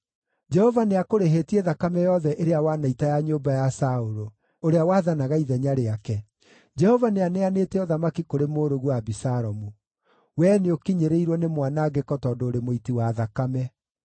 Jehova nĩakũrĩhĩtie, thakame yothe ĩrĩa wanaita ya nyũmba ya Saũlũ, ũrĩa wathanaga ithenya rĩake. Jehova nĩaneanĩte ũthamaki kũrĩ mũrũguo Abisalomu. Wee nĩũkinyĩrĩirwo nĩ mwanangĩko tondũ ũrĩ mũiti wa thakame!”